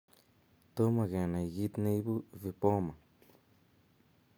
Tomo kenai kiit neibu vipoma